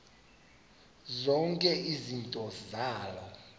zonke izinto zaloo